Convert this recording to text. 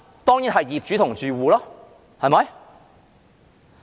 當然是業主和住戶。